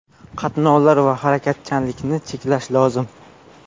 Qatnovlar va harakatchanlikni cheklash lozim.